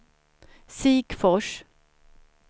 Sikfors